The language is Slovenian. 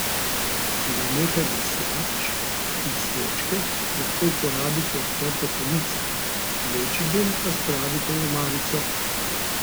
Za nekaj brisač in svečke lahko uporabite odprte police, večji del pa spravite v omarico.